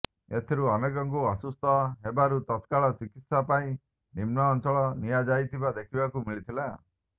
ଏଥିରୁ ଅନେକଙ୍କୁ ଅସୁସ୍ଥ ହେବାରୁ ତତ୍କାଳ ଚିକିତ୍ସା ପାଇଁ ନିମ୍ନ ଅଞ୍ଚଳକୁ ନିଆଯାଉଥିବା ଦେଖିବାକୁ ମିଳିଥିଲା